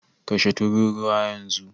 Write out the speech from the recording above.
Kashe tururuwa yanzu!